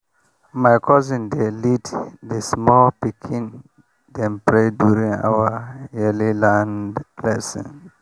my cousin dey lead the small pikin dem pray during our yearly land blessing.